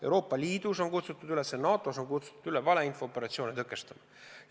Euroopa Liidus ja NATO-s on kutsutud üles valeinfo-operatsioone tõkestama.